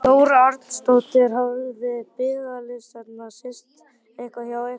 Þóra Arnórsdóttir: Hafa biðlistarnir styst eitthvað hjá ykkur?